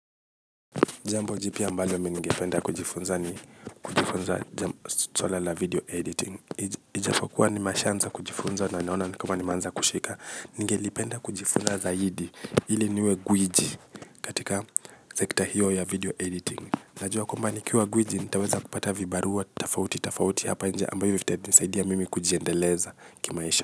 Jambo jipya ambalo mi ningependa kujifunza ni kujifunza chola la video editing. Ijapokuwa nimeshaanza kujifunza na naona ni kama nimeanza kushika. Nijgelipenda kujifunza zaidi ili niwe gwiji katika sekta hiyo ya video editing. Najua kwamba nikiwa gwiji nitaweza kupata vibarua tofauti tofauti hapa nje ambayo vitanisaidia mimi kujiendeleza kimaisha.